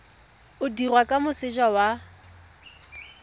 o dirwa kwa moseja wa